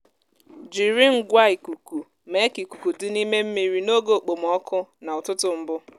jiri ngwa ikuku mee ka ikuku dị n’ime mmiri n’oge okpomọkụ na ụtụtụ mbụ.